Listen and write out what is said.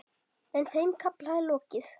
En þeim kafla er lokið.